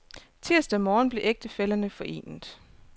Tirsdag morgen blev ægtefællerne forenet.